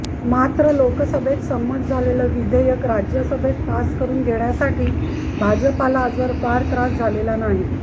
मात्र लोकसभेत संमत झालेलं विधेयक राज्यसभेत पास करून घेण्यासाठी भाजपला आजवर फार त्रास झालेला नाही